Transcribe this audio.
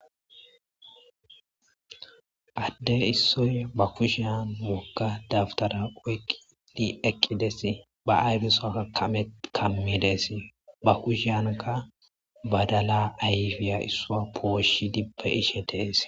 Ade issoyi ba kushiyani woga dabitara oyikidi eqides ba ayife soha kamides ba kushiyanika badala issuwa poshishid beyishe deyes